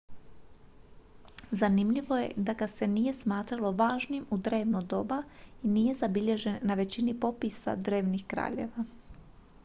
zanimljivo je da ga se nije smatralo važnim u drevno doba i nije zabilježen na većini popisa drevnih kraljeva